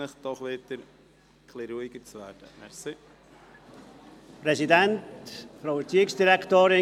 Ich erteile für die SVP-Fraktion Grossrat Augstburger das Wort.